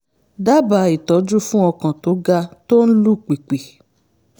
dábàá ìtọ́jú fún ọkàn tó ga tó ń lù pìpì